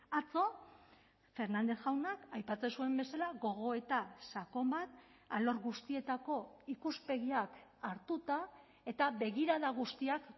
atzo fernández jaunak aipatzen zuen bezala gogoeta sakon bat alor guztietako ikuspegiak hartuta eta begirada guztiak